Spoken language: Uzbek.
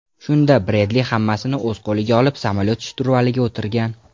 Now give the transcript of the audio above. Shunda Bredli hammasini o‘z qo‘liga olib samolyot shturvaliga o‘tirgan.